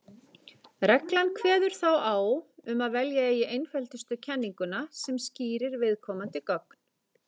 Reglan kveður þá á um að velja eigi einföldustu kenninguna sem skýrir viðkomandi gögn.